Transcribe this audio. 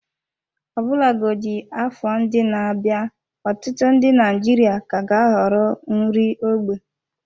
Ọbụlagodi afọ ndị na-abịa, ọtụtụ ndị Naijiria ka ga-ahọrọ nri ógbè.